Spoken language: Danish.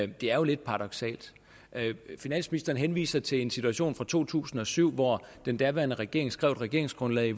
det er jo lidt paradoksalt finansministeren henviser til en situation fra to tusind og syv hvor den daværende regering skrev et regeringsgrundlag